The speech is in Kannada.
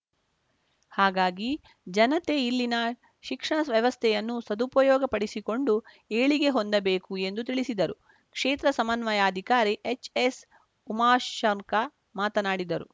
ಹಾಗಾಗಿ ಜನತೆ ಇಲ್ಲಿನ ಶಿಕ್ಷಣ ವ್ಯವಸ್ಥೆಯನ್ನು ಸದುಪಯೋಗಪಡಿಸಿಕೊಂಡು ಏಳಿಗೆ ಹೊಂದಬೇಕು ಎಂದು ತಿಳಿಸಿದರು ಕ್ಷೇತ್ರ ಸಮನ್ವಯಾಧಿಕಾರಿ ಎಚ್‌ಎಸ್‌ ಉಮಾಶಂಕ ಮಾತನಾಡಿದರು